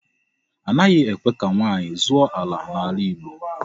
Anaghị ekwe ka ụmụ nwaanyị zụọ ala n'ala Igbo.